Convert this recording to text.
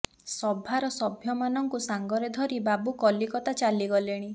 ସଭାର ସଭ୍ୟମାନଙ୍କୁ ସାଙ୍ଗରେ ଧରି ବାବୁ କଲିକତା ଚାଲି ଗଲେଣି